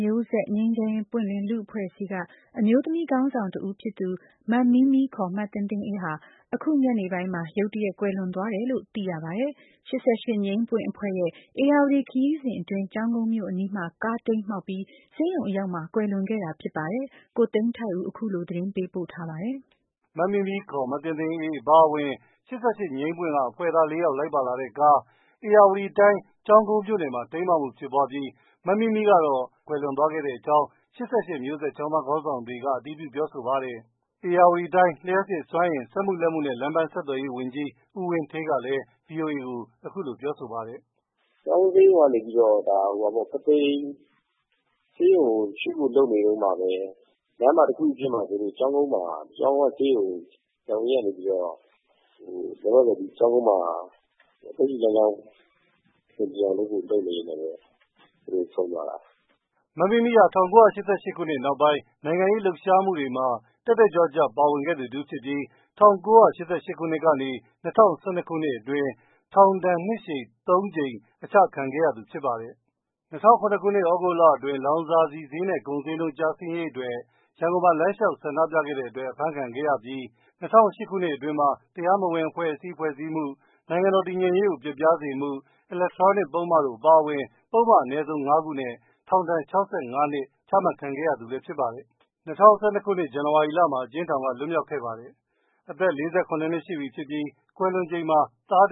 မျိုးဆက် ငြိမ်းချမ်းရေးပွင့်လင်းလူ့အဖွဲ့အစည်း က အမျိုးသမီးခေါင်းဆောင်တဦးဖြစ်သူ မမီးမီး ခေါ် မသင်းသင်းအေး ဟာ အခု ညနေပိုင်းမှာ ရုတ်တရက်ကွယ်လွန်သွားတယ်လို့ သိရပါတယ်။ ၈၈ ငြိမ်းပွင့်အဖွဲ့ရဲ့ ဧရာဝတီခရီးစဉ်အတွင်း ကျောင်းကုန်းမြို့အနီးမှာ ကားတိမ်းမှောက်ပြီး၊ ဆေးရုံအရောက်မှာ ကွယ်လွန်ခဲ့တာဖြစ်ပါတယ်။ ကိုသိန်းထိုက်ဦး အခုလို သတင်းပေးပို့ထားပါတယ်။ မမီးမီး ခေါ် မသင်းသင်းအေး အပါအဝင် ၈၈ အဖွဲ့သား ၄ ယောက်လိုက်ပါလာတဲ့ကား ဧရာဝတီခရီးစဉ်အတွင်း ကျောင်းကုန်းမြို့အနီးမှာ ကားတိမ်းမှောက်ပြီး မမီးမီးကတော့ ကွယ်လွန်သွားခဲ့တဲ့အကြောင်း ၈၈ ကျောင်းသားခေါင်းဆောင်တွေက အတည်ပြုပြောဆိုပါတယ်။ ဧရာဝတီတိုင်း လျပ်စစ်စွမ်းအင် စက်မှုလက်မှုနဲ့ လမ်းပန်းဆက်သွယ်ရေးဝန်ကြီး ဦးဝင်းဌေးက VOA ကိုအခုလိုပြောဆိုပါတယ်။ " ကျောင်းကုန်းကနေ ပုသိမ်ဆေးရုံကို ရွှေ့ဖို့လုပ်နေတဲ့အချိန်မှာ လမ်းမှာတခုခုဖြစ်မှာစိုးလို့ ကျောင်ကုန်းကနေပြီးတော့ ဆရာဝန်က ညှိညှိနှိုင်းနှိုင်းအဆင်ပြေအောင်လုပ်ဖို့ လုပ်နေရင်း ဆုံးသွားတာပါ။" မမီးမီးဟာ ၁၉၈၈ နောက်ပိုင်း နိုင်ငံရေးလှုပ်ရှားမှုတွေမှာ တတ်တတ်ကြွကြွပါဝင်ခဲ့သူတဦးဖြစ်ပြီး ၁၉၈၈ကနေ ၂၀၁၂ ခုနှစ်အတွင်း ထောင်ဒဏ် နှစ်ရှည် ၃ ကြိမ် အကျခံခဲ့ရသူဖြစ်ပါတယ်။ ၂၀၀၇ သြဂုတ်လအတွင်း လောင်စာဆီဈေးနဲ့ ကုန်ဈေးနှုန်းကျဆင်းရေးအတွက် ရန်ကုန်မှာ လမ်းလျောက် ဆန္ဒပြခဲ့တဲ့အတွက် အဖမ်းခံခဲ့ရပြီး ၂၀၀၈ ခုအတွင်းမှာ တရားမဝင်အသင်းဖွဲ့စည်းမှု ၊ နိုင်ငံတော်တည်ငြိမ်ရေးကို ပျက်ပျားစေမှု ၊ အီလက်ထရောနစ်ပုဒ်မတို့အပါအဝင် ပုဒ်မအနည်းဆုံး၅ ခုနဲ့ ထောင်ဒဏ် ၆၅နှစ်ချမှတ်ခံခဲ့ရသူလည်းဖြစ်ပါတယ်။ ၂၀၁၂ ခုနှစ် ဇန်နဝါရီလမှာ အကျဉ်းထောင်က လွှတ်မြောက်ခဲ့ပါတယ်။ အသက် ၄၇ နှစ်အရွယ် ရှိပြီဖြစ်ပြီး ကွယ်လွန်ချိန်မှာ သားတ